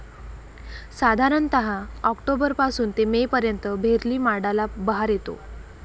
साधारणतः ऑक्टोबर पासून ते में पर्यंत भेरली माडाला बहार येतो.